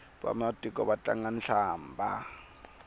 vamatiko va tlanga hlambha